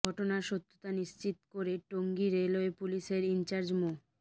ঘটনার সত্যতা নিশ্চিত করে টঙ্গী রেলওয়ে পুলিশের ইনচার্জ মো